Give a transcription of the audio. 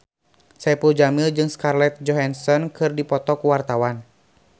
Saipul Jamil jeung Scarlett Johansson keur dipoto ku wartawan